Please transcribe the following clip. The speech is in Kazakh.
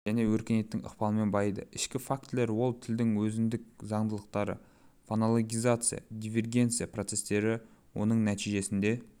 және өркениеттің ықпалымен байиды ішкі фактілер ол тілдің өзіндік заңдылықтары фонологизация дивергенция процестері оның нәтижесінде